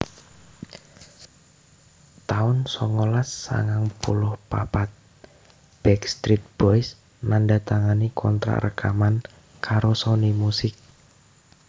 taun songolas sangang puluh papat Backstreet Boys nandatangani kontrak rekaman karo Sony Music